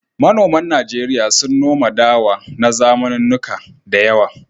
Manoman Najeriya sun noma dawa na zamanannuka da yawa.